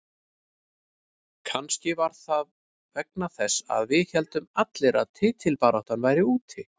Kannski var það vegna þess að við héldum allir að titilbaráttan væri úti.